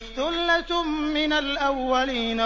ثُلَّةٌ مِّنَ الْأَوَّلِينَ